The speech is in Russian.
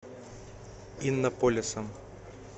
иннополисом